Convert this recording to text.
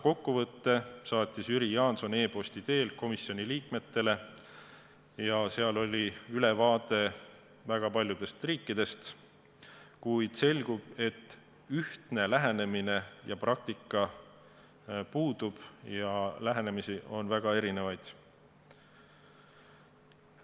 Kokkuvõtte saatis Jüri Jaanson e-posti teel komisjoni liikmetele ja seal oli ülevaade väga paljudest riikidest, kuid selgub, et ühtne lähenemine ja praktika puudub ja lähenemisi on väga erinevaid.